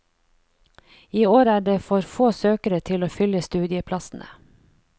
I år er det for få søkere til å fylle studieplassene.